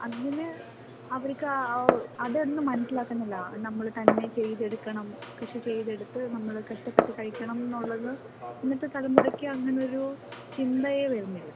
അങ്ങനെ അവർക്ക് അതൊന്നു മനസ്സിലാക്കുന്നില്ല നമ്മൾ തന്നെ ചെയ്തെടുക്കണം കൃഷി ചെയ്ത് എടുത്ത് നമ്മൾ കഷ്ടപ്പെട്ട് കഴിക്കണം എന്നുള്ളത് ഇന്നത്തെ തലമുറയ്ക്ക് അങ്ങനെയൊരു ചിന്തയേ വരുന്നില്ല.